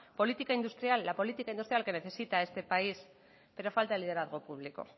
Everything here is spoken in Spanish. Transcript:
política industrial la política industrial que necesita este país pero falta el liderazgo público